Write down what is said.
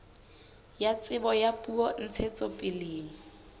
ya tsebo ya puo ntshetsopeleng